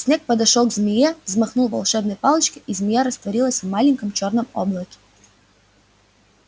снегг подошёл к змее взмахнул волшебной палочкой и змея растворилась в маленьком чёрном облаке